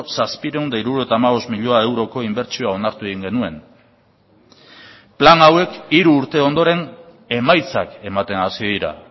zazpiehun eta hirurogeita hamabost milioi euroko inbertsioa onartu egin genuen plan hauek hiru urte ondoren emaitzak ematen hasi dira